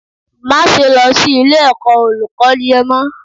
Máse lọ sí ilé ẹ̀kọ́ Olùkọ́n yẹn mọ́